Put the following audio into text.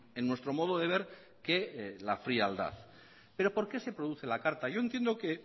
en nuestro modo de ver que la frialdad pero por qué se produce la carta yo entiendo que